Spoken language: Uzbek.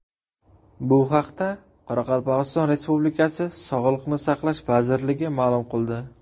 Bu haqda Qoraqalpog‘iston Respublikasi Sog‘liqni saqlash vazirligi ma’lum qildi .